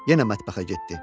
Yenə mətbəxə getdi.